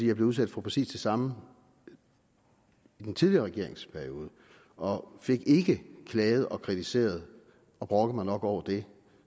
jeg blev udsat for præcis det samme i den tidligere regerings periode og fik ikke klaget kritiseret og brokket mig nok over det